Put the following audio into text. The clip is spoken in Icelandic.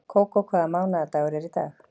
Kókó, hvaða mánaðardagur er í dag?